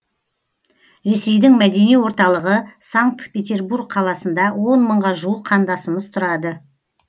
ресейдің мәдени орталығы санкт петербург қаласында он мыңға жуық қандасымыз тұрады